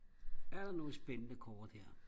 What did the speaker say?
er der nogle spændende kort her